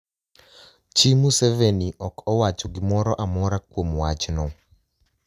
Chi Musevenii ok owacho gimoro amora kuom wachno